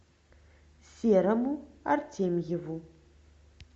серому артемьеву